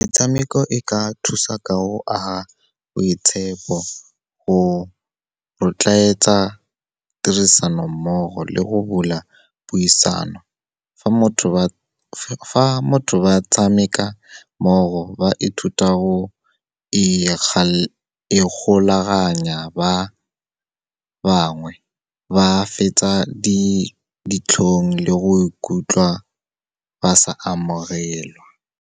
Metshameko e ka thusa ka go aga boitshepo, go rotloetsa tirisanommogo le go bula puisano. Fa motho ba tshameka mmogo ba ithuta go ikgolaganya, ba bangwe ba fetsa ditlhong le go ikutlwa ba sa amogelwa.